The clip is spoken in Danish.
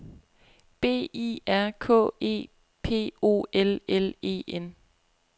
B I R K E P O L L E N